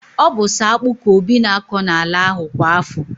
Ọ bu so akpu ka Obi na akọ n'ala ahụ kwa afọ